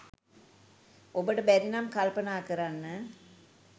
ඔබට බැරි නම් කල්පනා කරන්න